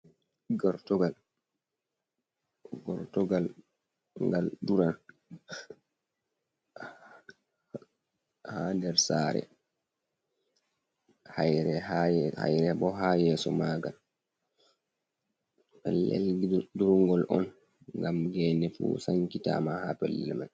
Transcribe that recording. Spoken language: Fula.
Gortogal gal duran ha der sare ,hayre bo ha yeso magal belel drungal on gam gene fu sankitama ha pellil man.